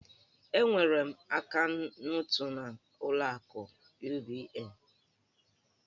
Enwere m akaụntụ n'ụlọ akụ UBA.